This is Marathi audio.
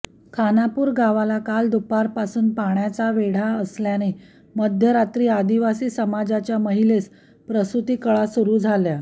खानापूर गावाला काल दुपारपासून पाण्याचा वेढा असल्याने मध्यरात्री आदिवासी समाजाच्या महिलेस प्रसूती कळा सुरू झाल्या